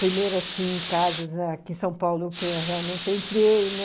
Primeiro, assim, casas aqui em São Paulo que realmente eu entrei, né?